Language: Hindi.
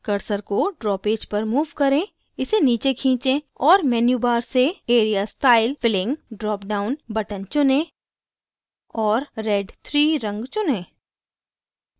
cursor को draw पेज पर move करें इसे नीचे खींचें और menu bar से area style/filling drop down button चुनें और red 3 रंग चुनें